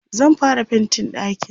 zan fara faintin ɗakin